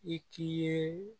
I k'i ye